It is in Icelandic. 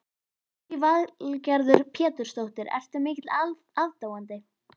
Lillý Valgerður Pétursdóttir: Ertu mikill aðdáandi?